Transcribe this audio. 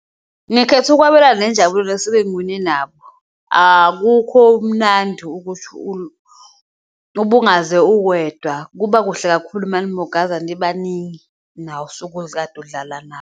Ngikhetha ukwabelana nenjabulo ngiwine nabo akukho mnandi ukuthi ubungaze uwedwa kuba kuhle kakhulu manimugaza nibaningi ukade udlala nabo.